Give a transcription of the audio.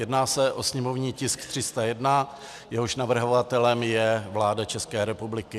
Jedná se o sněmovní tisk 301, jehož navrhovatelem je vláda České republiky.